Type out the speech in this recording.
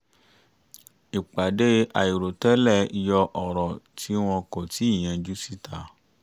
ìpàdé àìròtẹ́lẹ̀ yọ ọ̀rọ̀ tí wọn kò tíì yanjú síta